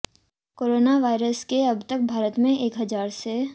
corona virus के अब तक भारत मे एक हज़ार से